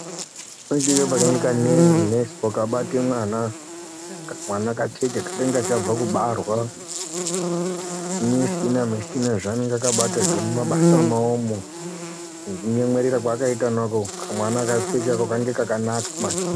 Nodiwe nesi wakabate mwana Kamwana kacheche kanenge kachabve kubarwa zvimishina mushina zvaanenge akabata mumabasa mwaomwo nekunyenmwerera kwaakaita mako kamwana kacheche ako kanenge kakanaka maningi.